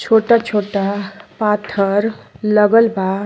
छोटा-छोटा पाथर लगल बा।